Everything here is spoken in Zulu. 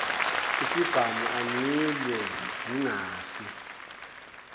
isibhamu angilwe ngingafi